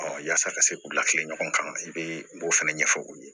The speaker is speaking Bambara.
yaasa ka se k'u lafili ɲɔgɔn kan i bɛ o fana ɲɛfɔ u ye